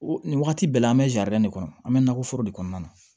Nin wagati bɛɛ la an bɛ de kɔnɔ an bɛ nakɔ foro de kɔnɔna na